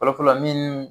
Fɔlɔ fɔlɔ min